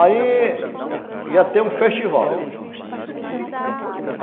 Aí ia ter um festival.